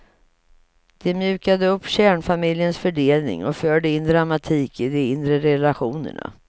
De mjukade upp kärnfamiljens fördelning och förde in dramatik i de inre relationerna.